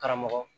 Karamɔgɔ